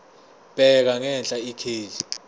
bheka ngenhla ikheli